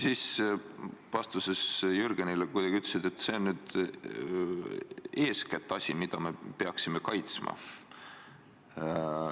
Vastuses Jürgenile ütlesid kuidagi nii, et see on eeskätt see asi, mida me peaksime kaitsma.